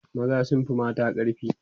maza sun Fi mata ƙarfi